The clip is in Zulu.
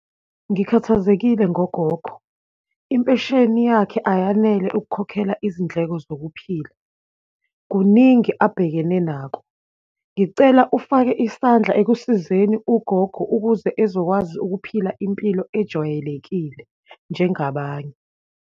Ngikhathazekile ngogogo, impesheni yakhe ayanele ukukhokhela izindleko zokuphila, kuningi abhekene nako. Ngicela ufake isandla ekusizeni ugogo ukuze ezokwazi ukuphila impilo ejwayelekile, njengabanye.